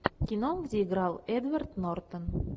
кино где играл эдвард нортон